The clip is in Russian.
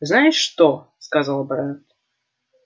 знаешь что сказал брент